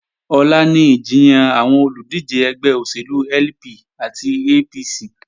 Ọ̀la ni ìjiyàn àwọn olùdíje ẹgbẹ́ òṣèlú LP àti APC